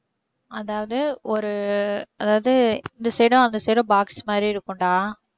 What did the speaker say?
அதாவது ஒரு, அதாவது இந்த side ம் அந்த side ம் box மாதிரி இருக்கும்டா